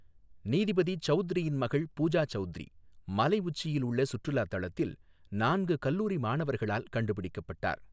நீதிபதி சவுத்ரியின் மகள் பூஜா சௌத்ரி, மலை உச்சியில் உள்ள சுற்றுலா தளத்தில் நான்கு கல்லூரி மாணவர்களால் கண்டுபிடிக்கப்பட்டார்.